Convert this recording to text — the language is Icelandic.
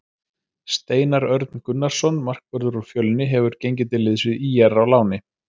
Steinar Örn Gunnarsson markvörður úr Fjölni hefur gengið til liðs við ÍR á láni.